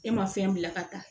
E ma fɛn bila ka taa